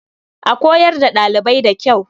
A koyar da ɗalibai da kyau.